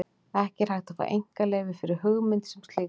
Ekki er hægt að fá einkaleyfi fyrir hugmynd sem slíkri.